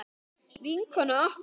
Vinkona okkar.